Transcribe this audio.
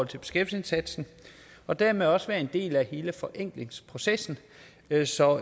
til beskæftigelsesindsatsen og dermed også være en del af hele forenklingsprocessen altså